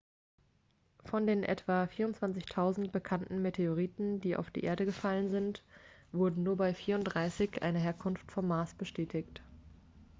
von den etwa 24.000 bekannten meteoriten die auf die erde gefallen sind wurde nur bei 34 eine herkunft vom mars bestätigt